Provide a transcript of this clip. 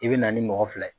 I bɛ na ni mɔgɔ fila ye